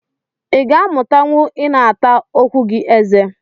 I ga amutanwu ina ata okwu gi eze